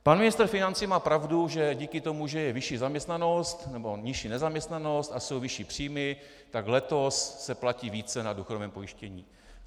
Pan ministr financí má pravdu, že díky tomu, že je vyšší zaměstnanost nebo nižší nezaměstnanost a jsou vyšší příjmy, tak letos se platí více na důchodovém pojištění.